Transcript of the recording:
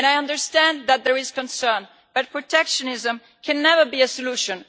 I understand that there is concern, but protectionism can never be a solution.